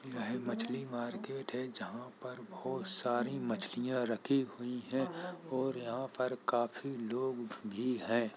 यह मछली मार्केट है जहां पर बोहोत सारी मछलियां रखी हुई हैं और यहाँ पर काफी लोग भी हैं।